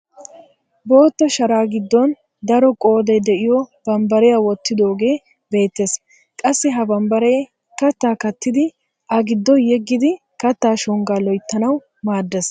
Bootta sharaa giddon daro qooday de'iyoo bambbariyaa wottidogee beettees. Qassi ha bambbaree kattaa kattidi a giddo yeeggidi kattaa shonggaa loyttanawu maaddees.